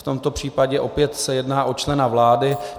V tomto případě se opět jedná o člena vlády.